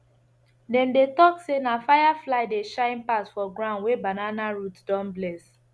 dem dey talk say firefly dey shine pass for ground wey banana root don bless